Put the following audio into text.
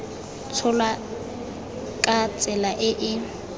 tsholwa ka tsela e e